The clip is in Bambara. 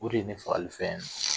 U de ye n fagali fɛn ye